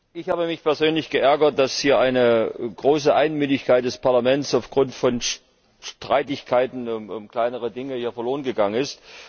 Ich habe mich persönlich geärgert, dass hier eine große Einmütigkeit des Parlaments aufgrund von Streitigkeiten um kleinere Dinge verloren gegangen ist.